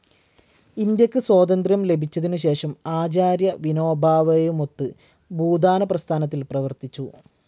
ഇന്ത്യയ്ക്കു സ്വാതന്ത്ര്യം ലഭിച്ചതിനുശേഷം ആചാര്യ വിനോബാ ഭാവേയുമൊത്ത് ഭൂദാനപ്രസ്ഥാനത്തിൽ പ്രവർത്തിച്ചു.